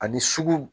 Ani sugu